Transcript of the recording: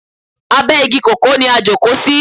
Abe igi kòkó ni a jókò sí.